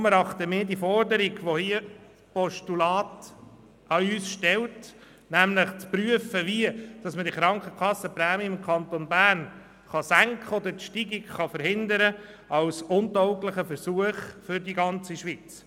Deshalb erachten wir die Forderung, die dieses Postulat an uns stellt – nämlich zu prüfen, wie man die Krankenkassenprämie im Kanton Bern senken oder die Steigung verhindern kann –, als untauglichen Versuch für die ganze Schweiz.